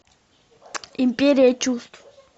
империя чувств